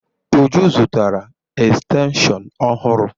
Uju zụtara estenshịon ọhụrụ.